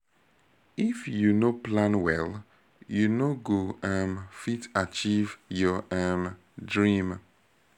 if you no plan well you no go um fit achieve your um dream